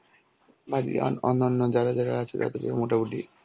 বাকিরা অন্য~ অন্যান্য যারা যারা আছো তাদেরকে মোটামুটি